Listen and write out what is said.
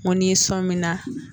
N ko ni so min na